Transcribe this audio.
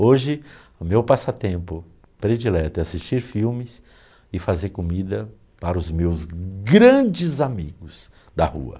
Hoje, o meu passatempo predileto é assistir filmes e fazer comida para os meus grandes amigos da rua.